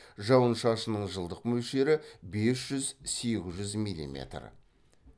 жауын шашынның жылдық мөлшері бес жүз сегіз жүз миллиметр